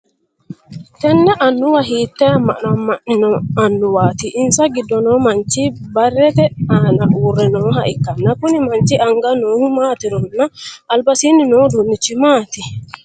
Tenne annuwa hiitee ama'no ama'nino annuwaati? Insa gido noo manchi barete aanna uure nooha ikanna konni manchi anga noohu maatironna albasiinni noo uduunichi maati?